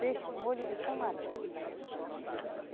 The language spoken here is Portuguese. Peixe com molho de tamarim.